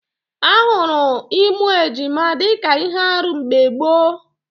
Ahụrụ ịmụ ejima dịka ihe árú mgbe gboo